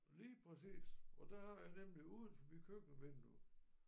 Lige præcis og der har jeg nemlig udenfor mit køkkenvindue